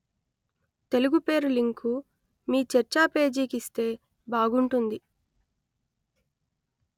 తెలుగు పేరు లింకు మీ చర్చా పేజీకి ఇస్తే బాగుంటుంది